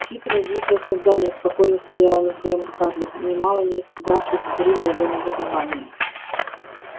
хитрое глупое создание спокойно стояла на своём скарлетт нимало не испугавшись взрыва его негодования